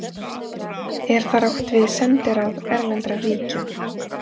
Er þar átt við sendiráð erlendra ríkja.